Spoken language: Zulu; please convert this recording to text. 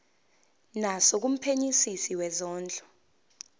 naso kumphenyisisi wezondlo